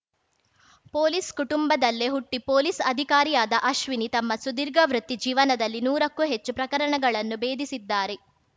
police ಕುಟುಂಬದಲ್ಲೇ ಹುಟ್ಟಿಪೊಲೀಸ್‌ ಅಧಿಕಾರಿಯಾದ ಅಶ್ವಿನಿ ತಮ್ಮ ಸುದೀರ್ಘ ವೃತ್ತಿ ಜೀವನದಲ್ಲಿ ನೂರಕ್ಕೂ ಹೆಚ್ಚು ಪ್ರಕರಣಗಳನ್ನ ಬೇಧಿಸಿದ್ದಾರೆ